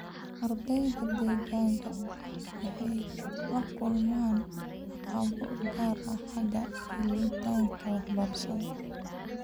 Ardayda dheddigga ah waxay la kulmaan caqabado gaar ah xagga helitaanka waxbarashada.